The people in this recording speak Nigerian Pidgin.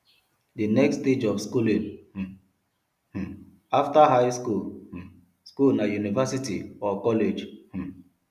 the next stage of schooling um um after high um school na university or college um